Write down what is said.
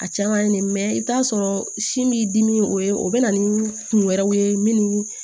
A caman ye nin i bɛ t'a sɔrɔ sin b'i dimi o ye o bɛ na ni kun wɛrɛw ye min